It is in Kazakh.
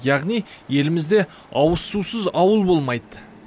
яғни елімізде ауызсусыз ауыл болмайды